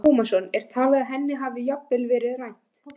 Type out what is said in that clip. Telma Tómasson: Er talið að henni hafi jafnvel verið rænt?